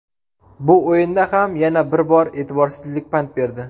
Bu o‘yinda ham yana bir bor e’tiborsizlik pand berdi.